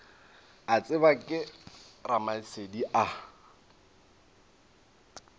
a tsebja ke ramasedi a